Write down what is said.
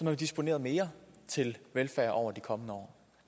være disponeret mere til velfærd over de kommende år